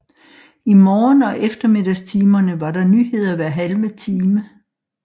I morgen og eftermiddagstimerne var der nyheder hver halve time